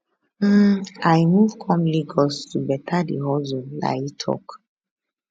im i move come lagos to better di hustle layi tok